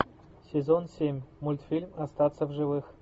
сезон семь мультфильм остаться в живых